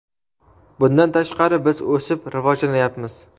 Bundan tashqari, biz o‘sib, rivojlanayapmiz.